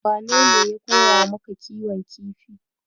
Wanene ya koya maka kiwon kifi?